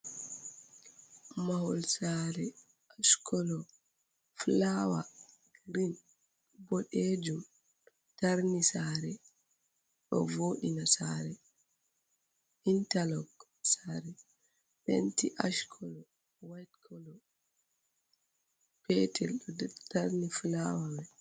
Mahol sare ash colour flower green bodejum tarni sare do vodina sare interlock sare penti ash colour whaite white colour petel ɗo tarni flower mai.